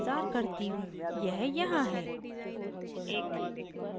यह यहाँ है